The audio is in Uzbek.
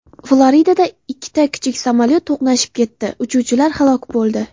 Floridada ikkita kichik samolyot to‘qnashib ketdi, uchuvchilar halok bo‘ldi.